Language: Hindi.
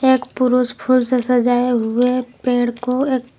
एक पुरुष फूल से सजाये हुए पेड़ को एक--